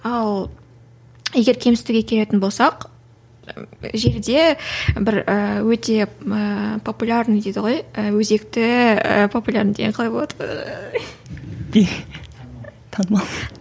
ал егер кемсітуге келетін болсақ желі де бір і өте ііі популярный дейді ғой і өзекті популярный деген қалай болады танымал